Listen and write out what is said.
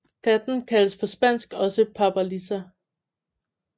Planten kaldes på spansk også papalisa